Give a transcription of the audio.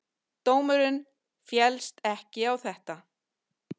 Dómurinn féllst ekki á þetta.